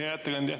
Hea ettekandja!